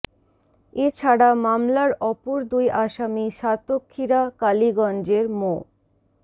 এ ছাড়া মামলার অপর দুই আসামি সাতক্ষীরা কালিগঞ্জের মো